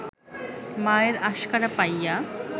মায়ের আশকারা পাইয়া